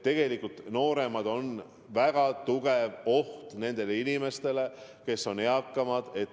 Nooremad on väga suur oht nendele inimestele, kes on eakamad.